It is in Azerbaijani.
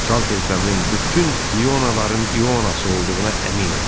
Salter Seminin bütün İonaların İonası olduğuna əminəm.